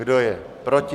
Kdo je proti?